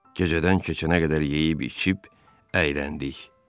Gecədən keçənə qədər yeyib-içib əyləndik.